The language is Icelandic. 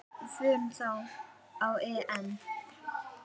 Við förum þá á EM.